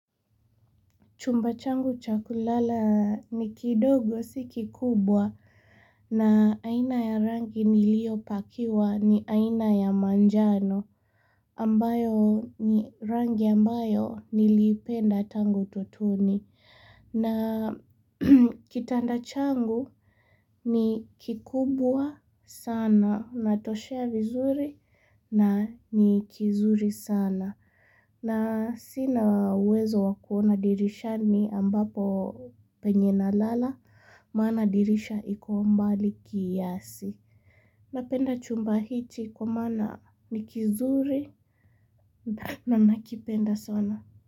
Chumba changu cha kulala ni kidogo si ki kubwa na aina ya rangi nilio pakiwa ni aina ya manjano ambayo ni rangi ambayo nilipenda tangu utotoni. Na kitanda changu ni kikubwa sana unatoshea vizuri na ni kizuri sana. Na sina uwezo wa kuona dirishani ambapo penye na lala maana dirisha iko mbali kiasi. Napenda chumba hichi kwa maana ni kizuri na nakipenda sana.